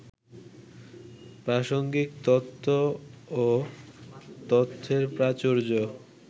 প্রাসঙ্গিক তত্ত্ব ও তথ্যের প্রাচুর্য